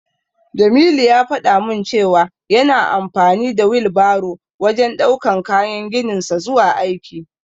Jamilu ya faɗa min cewa yana amfani da wilbaro wajen ɗaukan kayan gininsa zuwa aiki.